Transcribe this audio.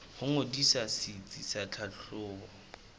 ho ngodisa setsi sa tlhahlobo